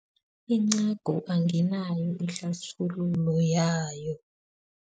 Incagu anginayo ihlathululo yayo.